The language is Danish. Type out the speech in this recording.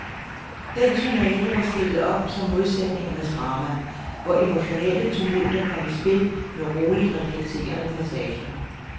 Den sonate var stillet op som modsætningernes drama, hvor emotionelle tumulter kom i spil med roligt reflekterende passager.